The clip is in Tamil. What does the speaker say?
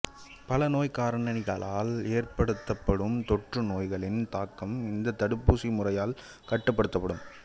பல நோய்க்காரணிகளால் ஏற்படுத்தப்படும் தொற்றுநோய்களின் தாக்கம் இந்த தடுப்பூசி முறையால் கட்டுப்படுத்தப்படும்